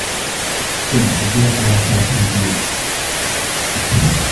Saddex jeer ayaan kala qaybiyay.